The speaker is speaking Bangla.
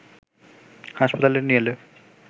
হাসপাতালে নিয়ে এলে